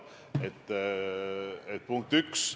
See oli punkt 1.